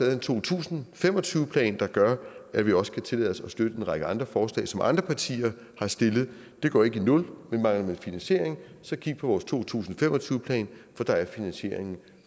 en to tusind og fem og tyve plan der gør at vi også kan tillade os at støtte en række andre forslag som andre partier har stillet det går ikke i nul men mangler man finansiering så kig på vores to tusind og fem og tyve plan for der er finansieringen